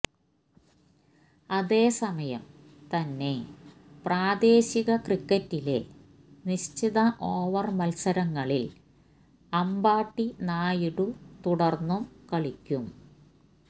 അതേസമയം തന്നെ പ്രദേശിക ക്രിക്കറ്റിലെ നിശ്ചത ഓവർ മത്സരങ്ങളിൽ അമ്പാട്ടി റായിഡു തുടർന്നും കളിക്കും